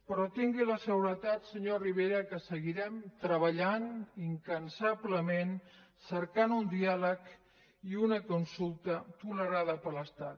però tingui la seguretat senyor rivera que seguirem treballant incansablement cercant un diàleg i una consulta tolerada per l’estat